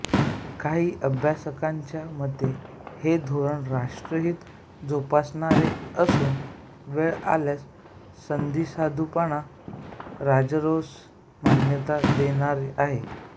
काही अभ्यासकांच्या मते हे धोरण राष्ट्रहित जोपासणारेच असून वेळ आल्यास संधिसाधूपणास राजरोस मान्यता देणारे आहे